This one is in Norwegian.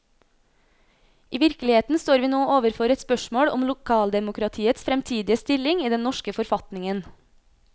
I virkeligheten står vi nå overfor et spørsmål om lokaldemokratiets fremtidige stilling i den norske forfatningen.